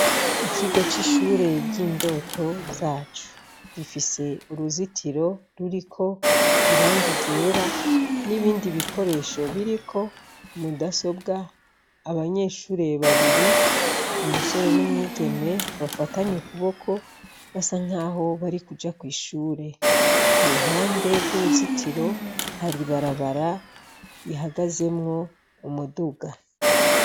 Ikigo c'ishure ry'indoto zacu, gifise uruzitiro ruriko irangi ryera n'ibindi bikoresho biriko, mudasobwa, abanyeshure babiri, umusore n'umwigeme bafatanye ukuboko basa nkaho barikuja kw'ishure, k'uruhande rw'uruzitiro hari ibarabara ihagazemwo umuduga.